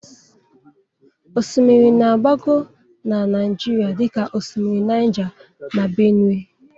Osimiri na-agbagọ na Naịjirịa dịka osimiri Naija na Bénuè.